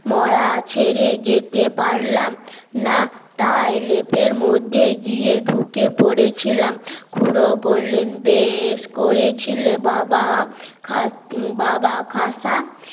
মরা ছেড়ে যেতে পারলাম না তাই লেপের মধ্যে গিয়ে ঢুকে পড়েছিলাম খুড়ো বললেন বেশ করেছিলে বাবা বাবা খাসা